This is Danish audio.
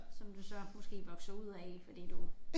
Som du så måske vokser ud af fordi du